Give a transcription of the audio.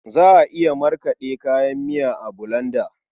Za a iya markaɗe kayan miya a bulanda.